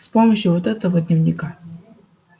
с помощью вот этого дневника